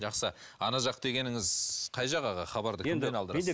жақсы ана жақ дегеніңіз қай жақ аға хабарды кімнен алдырасыз